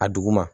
A duguma